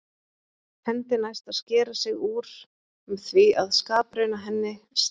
Hendi næst að skera sig úr með því að skaprauna henni, stríða.